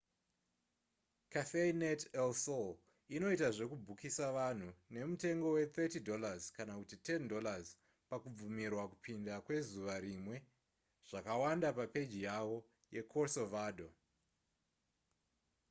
cafenet el sol inoita zvekubhukisa vanhu nemutengo we$30 kana kuti $10 pakubvumirwa kupinda kwezuva rimwe; zvakawanda papeji yavo yecorcovado